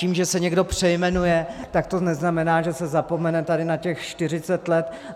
Tím, že se někdo přejmenuje, tak to neznamená, že se zapomene tady na těch 40 let.